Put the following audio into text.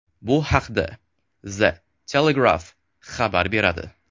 Bu haqda The Telegraph xabar beradi .